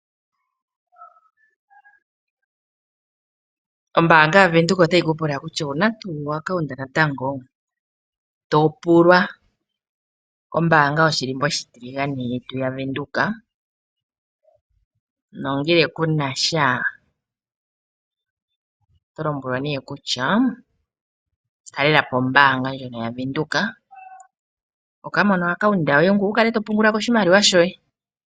Ombanga yo Windhoek otayi kupula kutya owuna tu o-account natango ? To pulwa. Ombanga yoshilimbo oshitiligane yetu ya Windhoek, nongele kunasha oto lombwelwa nee kutya talelapo ombanga ndjono ya Windhoek wuka mone account yoye ngoye wukale to pungulako oshimaliwa shoye.